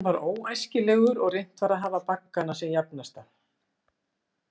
Hann var óæskilegur, og reynt var að hafa baggana sem jafnasta.